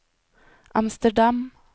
Amsterdam